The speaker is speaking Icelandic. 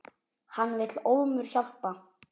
Hann vill ólmur hjálpa.